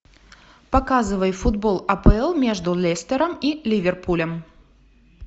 показывай футбол апл между лестером и ливерпулем